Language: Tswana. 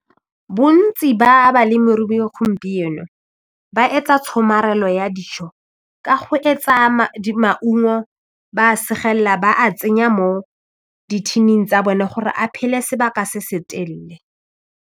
Bontsi ba balemirui gompieno ba etsa tshomarelo ya dijo ka go etsa maungo ba segelela ba a tsenya mo dithining tsa bone gore a phele sebaka se se telele.